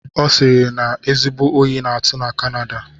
Ọ sịrị na ezigbo oyi na-atụ na kanada